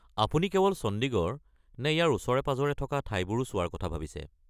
আপুনি কেৱল চণ্ডীগড় নে ইয়াৰ ওচৰে-পাঁজৰে থকা ঠাইবোৰো চোৱাৰ কথা ভাবিছে?